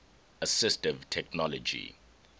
assistive technology